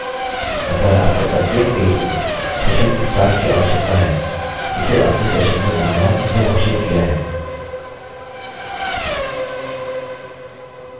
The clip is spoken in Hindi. अतः आपको प्रत्येक पेज में session start की आवश्यकता है जिसे आपने सेशन में बनाया या घोषित किया है